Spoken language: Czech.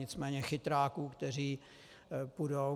Nicméně chytráků, kteří půjdou...